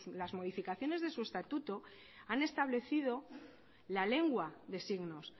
las modificaciones de su estatuto han establecido la lengua de signos